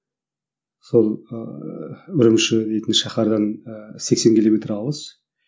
сол ыыы үрімші дейтін шахардан ыыы сексен километр алыс